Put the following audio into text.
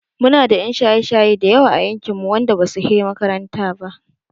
Muna da 'yan shaye-shaye da yawa a yankinmu wanda basu he makaranta ba.